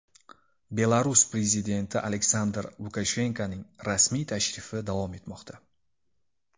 Belarus prezidenti Aleksandr Lukashenkoning rasmiy tashrifi davom etmoqda.